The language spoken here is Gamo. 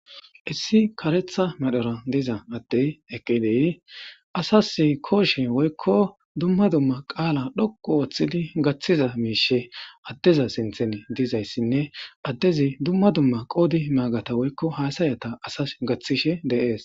issi karetha madhora diza adtey eqqidey asas kooshe woykko dumma dumma qaala dhoqu ooththidi gaththiza miishe addeza sinthen dizayssinne addezi dumma dumma qoodi maagata woykko haasayata asas gaththishe deees